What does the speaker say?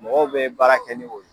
Mɔgɔw bɛ baara kɛ ni o ye.